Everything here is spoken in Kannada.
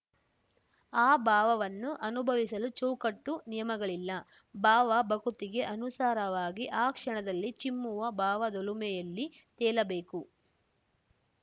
ಆ ಭಾವವನ್ನು ಅನುಭವಿಸಲು ಚೌಕಟ್ಟು ನಿಯಮಗಳಿಲ್ಲ ಭಾವ ಭಕುತಿಗೆ ಅನುಸಾರವಾಗಿ ಆ ಕ್ಷಣದಲ್ಲಿ ಚಿಮ್ಮುವ ಭಾವದೊಲುಮೆಯಲ್ಲಿ ತೇಲಬೇಕು